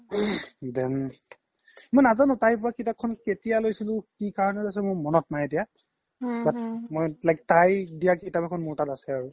then মই নাজানো তাইৰ পৰা কিতাপখন কেতিয়া লইছিলো কি কাৰনে লইছিলো মোৰ মনত নাই এতিয়া but তাই দিয়া কিতাপ এখন মোৰ লগত আছে আৰু আৰু মই সেই কিতাপখন বহুত ভালকে ৰাখিছো I hope মোৰ table খনও তাই ভালে ৰাখিছে